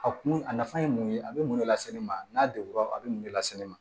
A kun a nafa ye mun ye a bɛ mun de lase ne ma n'a degunna a bɛ mun de lase ne ma